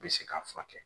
Bɛ se k'a furakɛ